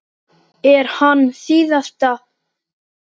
Er hann síðasta púslið?